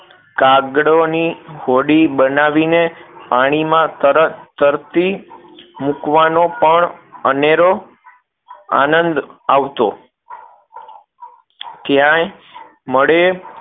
કાગળોની હોડી બનાવી ને પાણી માં તર તરતી મૂકવાનો પણ અનેરો આંનદ આવતો ક્યાંય મળે